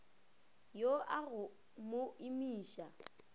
yo a go mo imiša